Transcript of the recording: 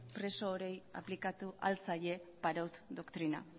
preso orori aplikatu ahal zaie parot doktrina